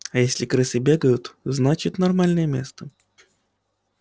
а если крысы бегают значит нормальное место